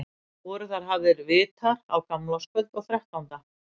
Voru þar hafðir vitar á gamlárskvöld og þrettánda.